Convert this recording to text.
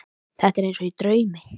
Þetta er eins og í draumi.